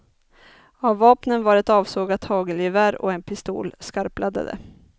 Av vapnen var ett avsågat hagelgevär och en pistol skarpladdade.